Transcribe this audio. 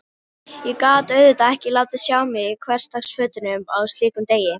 Ég gat auðvitað ekki látið sjá mig í hversdagsfötunum á slíkum degi.